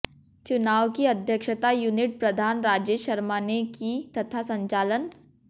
चुनाव की अध्यक्षता यूनिट प्रधान राजेश शर्मा ने की तथा संचालन